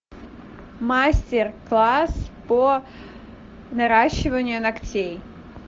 мастер класс по наращиванию ногтей